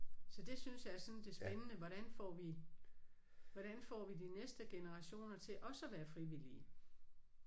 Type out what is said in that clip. Så det synes jeg er sådan det spændende hvordan får vi hvordan får vi de næste generationer til også at være frivillige